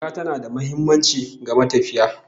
Jaka tana da muhimmanci ga matafiyi